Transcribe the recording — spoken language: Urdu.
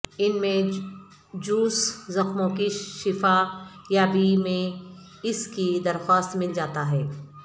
ان میں جوس زخموں کی شفا یابی میں اس کی درخواست مل جاتا ہے